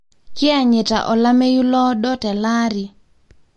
kianyita olameyu loodo teleari.